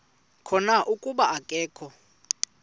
khona kuba akakho